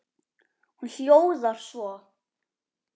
Hún hljóðar svo